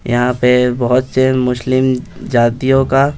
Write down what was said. यहाँ पे बहुत से मुस्लिम जातियों का--